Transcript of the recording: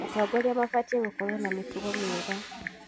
Atongoria mabatiĩ gũkorwo na mĩtugo mĩega.